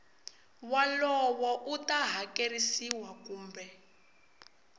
wolowo u ta hakerisiwa kumbe